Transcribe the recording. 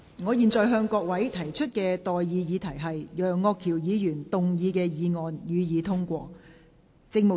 我現在向各位提出的待議議題是：楊岳橋議員動議的議案，予以通過。